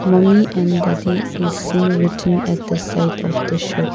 mummy and daddy is seen written at the site of the shop.